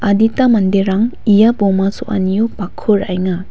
adita manderang ia boma so·anio bakko ra·enga.